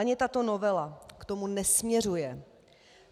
Ani tato novela k tomu nesměřuje.